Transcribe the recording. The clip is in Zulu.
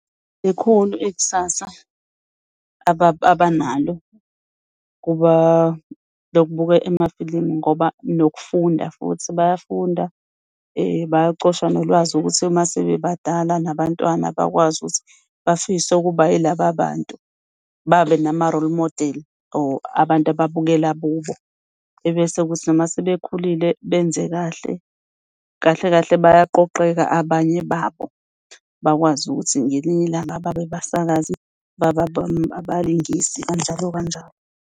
Likhulu ikusasa abanalo lokubuka amafilimu ngoba nokufunda futhi bayafunda , bayacosha nolwazi ukuthi mase bebadala nabantwana bakwazi ukuthi bafise ukuba yilaba bantu babe nama-role model or abantu ababukela kubo. Ebese kuthi noma sebekhulile benze kahle. Kahle kahle, bayaqoqeka abanye babo bakwazi ukuthi ngelinye ilanga babe abasakwazi, babe abalingisi kanjalo kanjalo.